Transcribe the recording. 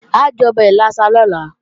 A jọbẹ̀ ìlàsà lọ́la